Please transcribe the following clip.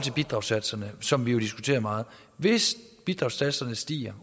bidragssatserne som vi jo diskuterer meget hvis bidragssatserne stiger